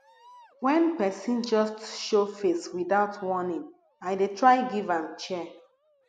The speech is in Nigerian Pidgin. wen pesin just show face witout warning i dey try give am chair